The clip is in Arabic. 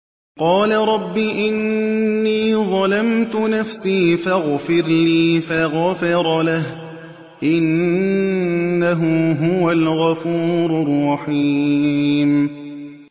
قَالَ رَبِّ إِنِّي ظَلَمْتُ نَفْسِي فَاغْفِرْ لِي فَغَفَرَ لَهُ ۚ إِنَّهُ هُوَ الْغَفُورُ الرَّحِيمُ